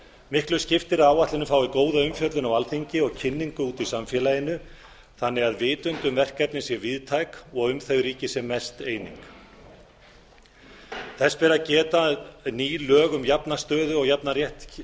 miklu skiptir að áætlunin fái góða umfjöllun á alþingi og kynningu úti í samfélaginu þannig að vitund um verkefnið sé víðtæk og um þau ríki sem mest eining þess ber að geta að ný lög um jafna stöðu og jafnan rétt